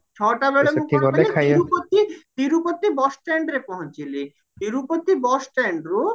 ଛଟା ବେଳେ ମୁଁ ସେଠି ତିରୁପତି ତିରୁପତି bus standରେ ପହଞ୍ଚିଲି ତିରୁପତ bus standରୁ